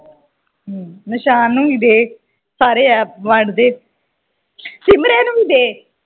ਹਮ ਨਿਸ਼ਾਨ ਨੂੰ ਵੀ ਦੇ ਸਾਰੇ ਐੱਪ ਵੰਢ ਦੇ ਸਿਮਰੇ ਨੂੰ ਵੀ ਦੇ